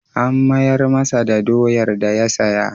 An mayar masa da doyar da ya saya.